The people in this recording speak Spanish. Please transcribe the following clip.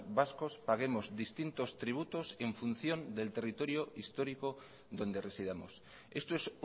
vascos paguemos distintos tributos en función del territorio histórico donde residamos esto es